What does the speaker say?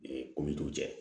Ee ko min t'u cɛ